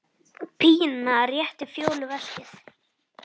Pína réttir Fjólu veskið.